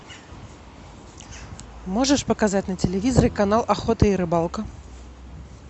можешь показать на телевизоре канал охота и рыбалка